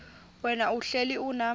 wena uhlel unam